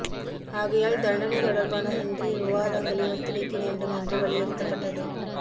ஆகையால் தண்டனை தொடர்பான இன்றைய விவாதங்களை ஒத்திவைக்க வேண்டும் என்று வலியுறுத்தப்பட்டது